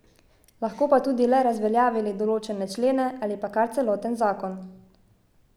Lahko pa tudi le razveljavili določene člene ali pa kar celoten zakon.